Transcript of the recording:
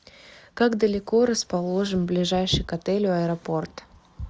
как далеко расположен ближайший к отелю аэропорт